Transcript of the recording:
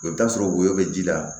I bɛ t'a sɔrɔ woyo bɛ ji la